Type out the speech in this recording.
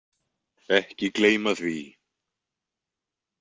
Ekki gleyma því.